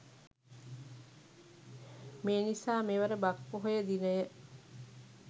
මේ නිසා මෙවර බක් පොහොය දිනය